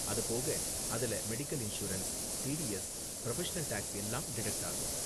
அது போக, அதுல medical insurance, TDS, professional tax எல்லாம் டிடக்ட் ஆகும்.